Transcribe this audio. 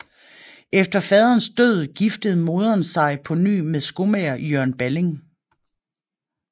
Efter faderens død giftede moderen sig på ny med skomager Jørgen Balling